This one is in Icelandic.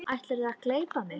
Ætlarðu að gleypa mig!